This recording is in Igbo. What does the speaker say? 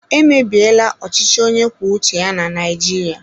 Emebiela ọchịchị onye kwuo uche ya na Naijiria.